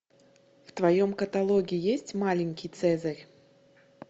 в твоем каталоге есть маленький цезарь